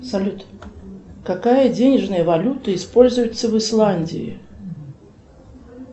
салют какая денежная валюта используется в исландии